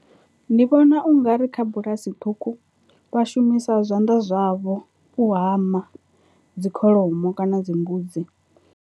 Ndi vhona ungari kha bulasi ṱhukhu vha shumisa zwanḓa zwavho u hama dzi kholomo kana dzi mbudzi.